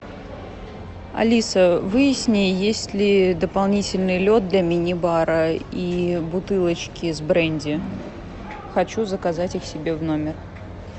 алиса выясни есть ли дополнительный лед для мини бара и бутылочки с бренди хочу заказать их себе в номер